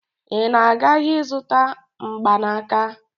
Ị na-aga ahịa ịzụta mgbanaka?